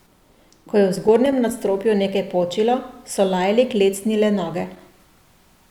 Ko je v zgornjem nadstropju nekaj počilo, so Lajli klecnile noge.